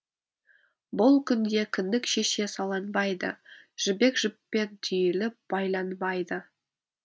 бұл күнде кіндік шеше саланбайды жібек жіппен түйіліп байланбайды